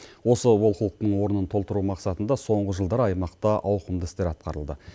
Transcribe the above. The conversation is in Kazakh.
осы олқылықтың орнын толтыру мақсатында соңғы жылдары аймақта ауқымды істер атқарылды